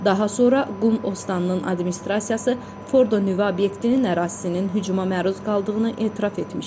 Daha sonra Qum ostannının administrasiyası Fordo nüvə obyektinin ərazisinin hücuma məruz qaldığını etiraf etmişdi.